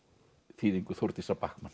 þýðingu Þórdísar